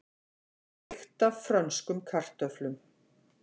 Lykt af frönskum kartöflum